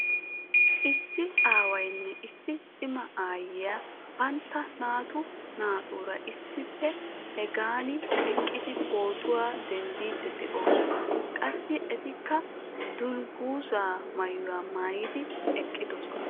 Issi aawaynne issi cimma aayiyaa bantta naatu naatuura issippe hagan eqqidi pootuwaa dendiidi de'oosona. Qassi etikka dunguzzaa maayuwa maaydi eqqidosona.